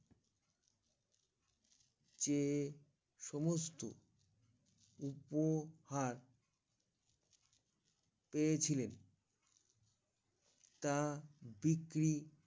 চে সমস্ত উপহার পেয়েছিলেন তা বিক্রি